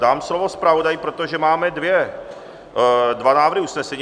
Dám slovo zpravodaji, protože máme dva návrhy usnesení.